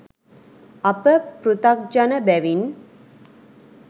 අප පෘතග්ජන බැවින්